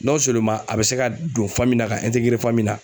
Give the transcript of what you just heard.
a bɛ se ka don la ka la.